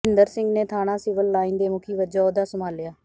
ਭੁਪਿੰਦਰ ਸਿੰਘ ਨੇ ਥਾਣਾ civil line ਦੇ ਮੁਖੀ ਵਜੋਂ ਅਹੁਦਾ ਸੰਭਾਲਿਆ